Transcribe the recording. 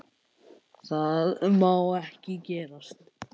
Það má ekki gerast.